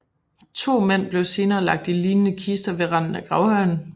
To mænd blev senere lagt i lignende kister ved randen af gravhøjen